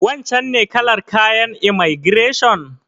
Wancen ne kalar kayan imaigireshon?